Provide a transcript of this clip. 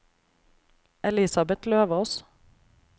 Elisabeth Løvås